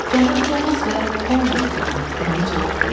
Cənab Tomas və Homburq xanım, Emil cavab verdi.